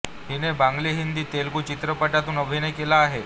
हिने बंगाली हिंदी तेलुगू चित्रपटांतून अभिनय केला आहे